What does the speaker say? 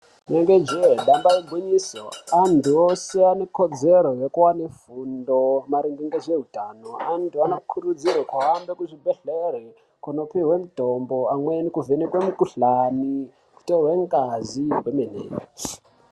Inenge jee damba igwinyiso anthu ese anekodzero yekuwane fundo maringe ngezveutano anthu anokurudzirwe kuhambe kuzvibhedhlere koopiwe mitombo amweni kuvhenekwe mikuhlani, kutorwe ngazi kwemene.